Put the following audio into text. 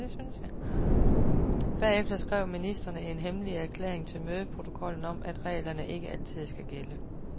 Bagefter skrev ministrene en hemmelig erklæring til mødeprotokollen om, at reglerne ikke altid skal gælde.